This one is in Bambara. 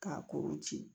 K'a kuru ci